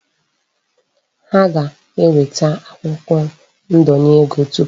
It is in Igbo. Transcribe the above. Ha ga-enweta akwụkwo ndenye ego tupu ha enweta ego.